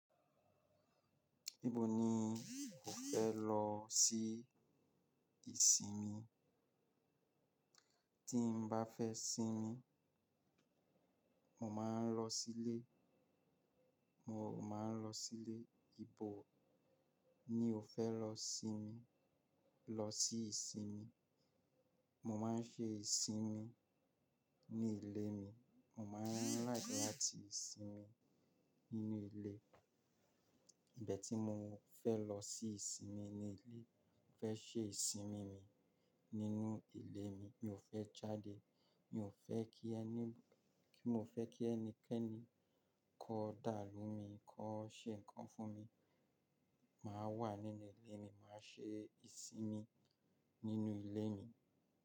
Níbo ni ẹ́ lọ sí ìsinmi? Tí n bá fẹ́ sinmi, mo máa ń lọ sílé, mo máa ń lọ sílé. Níbo ni o fẹ́ lọ sinmi? Lọ sí ìsinmi? Mo máa ń ṣe ìsinmi ní ilé mi. Mo máa ń try láti sinmi nínú ilé. Mo dẹ̀ tí mo fẹ́ lọ sí ìsinmi ni ilé. Mo fẹ́ ṣe ìsinmi mi nínú ilé mi. Mi ò fẹ́ jáde. Mi ò fẹ́ kí ẹni, kí mo fẹ́ kí ẹnikẹ́ni kó dàamú mi, kó ṣe nǹkan kan fún mi. Máa wà nínú ilé mi, màá ṣe ìsinmi nínú ilé mi.